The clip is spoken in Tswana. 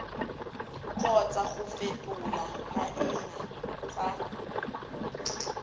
kgotsa go fetola maina tsa